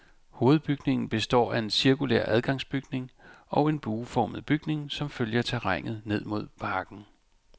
Hovedbygningen består af en cirkulær adgangsbygning og en bueformet bygning som følger terrænet ned mod parken.